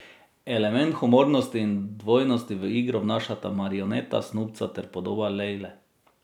Element humornosti in dvojnosti v igro vnašata marioneta Snubca ter podoba Lejle.